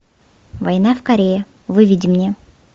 война в корее выведи мне